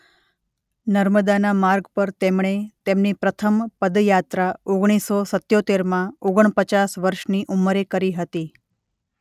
નર્મદાના માર્ગ પર તેમણે તેમની પ્રથમ પદ યાત્રા ઓગણીસો સીત્ત્યોતેરમાં ઓગણપચાસ વર્ષની ઉંમરે કરી હતી.